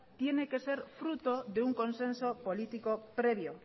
tiene que ser fruto de un consenso político previo